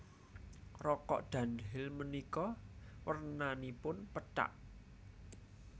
Rokok Dunhill menika wernanipun pethak